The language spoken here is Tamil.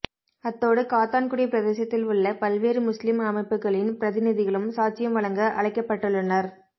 அத்தோடு காத்தான்குடி பிரதேசத்தில் உள்ள பல்வேறு முஸ்லிம் அமைப்புகளின் பிரதிநிதிகளும் சாட்சியம் வழங்க அழைக்கப்பட்டுள்ளனர்